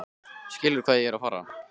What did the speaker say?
Skilurðu hvað ég er að fara?